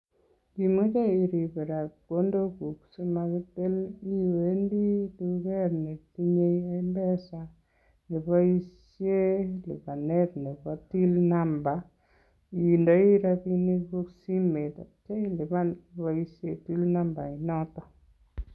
Ngimoche irip chepkondoguk asimakitil iwendi tuget netinye M-Pesa neboishen lipanet nebo till number indoi rapiniguk simet ii ak ityo ilipan iboishen nambainoto.